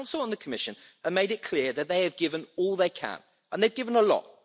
The Council and the Commission have made it clear that they have given all they can, and they've given a lot.